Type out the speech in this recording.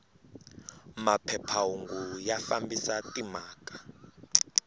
maphepha hungu ya fambisa timhaka